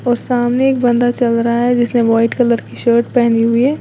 और सामने एक बंदा चल रहा है जिसने व्हाइट कलर की शर्ट पहनी हुई है।